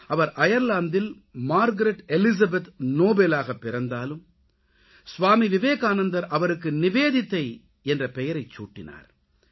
அவர் அயர்லாந்தில் Margaret Elizabeth நோபலாகப் பிறந்தாலும் ஸ்வாமி விவேகானந்தர் அவருக்கு நிவேதிதா என்ற பெயரைச்சூட்டினார்